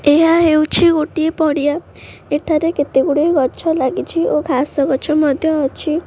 ଏହା ହେଉଛି ଗୋଟିଏ ପଡି଼ଆ ଏଠାରେ କେତେ ଗୁଡ଼ିଏ ଗଛ ଲାଗିଛି ଓ ଘାସ ଗଛ ମଧ୍ୟ ଅଛି।